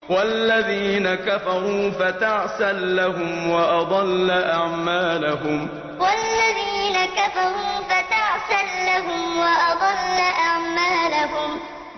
وَالَّذِينَ كَفَرُوا فَتَعْسًا لَّهُمْ وَأَضَلَّ أَعْمَالَهُمْ وَالَّذِينَ كَفَرُوا فَتَعْسًا لَّهُمْ وَأَضَلَّ أَعْمَالَهُمْ